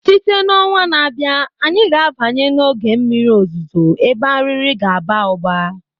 Site na ọnwa na-abịa, anyị ga-abanye n'oge mmiri ozuzo ebe Arịrị ga-aba ụba